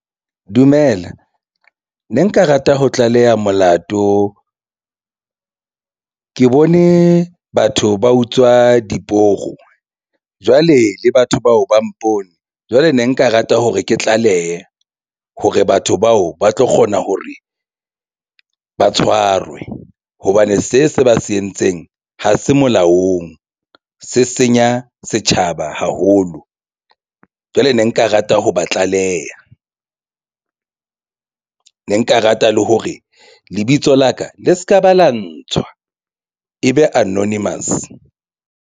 Dumela, ne nka rata ho tlaleha molato ke bone batho ba utswa diporo jwale le batho bao ba mpone jwale ne nka rata hore ke tlalehe hore batho bao ba tlo kgona hore ba tshwarwe hobane se se ba se entseng ha se molaong se senya setjhaba haholo. Jwale ne nka rata ho ba tlaleha ne nka rata le hore lebitso la ka le se ka ba la ntshwa e be anonymous.